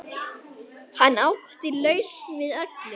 Hann átti lausn við öllu.